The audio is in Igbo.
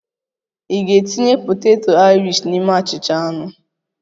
Ị ga-etinye poteto Aịrishi n'ime achịcha anụ?